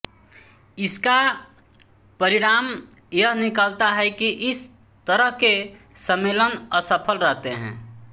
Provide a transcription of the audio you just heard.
इसका परिणाम यह निकलता है कि इस तरह के सम्मेलन असफल रहते हैं